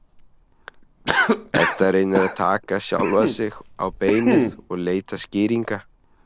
Edda reynir að taka sjálfa sig á beinið og leita skýringa.